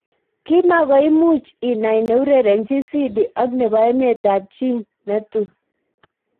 Kimakoi imuch inai neurerenjin Sidi ak nebo emet ab chi netui.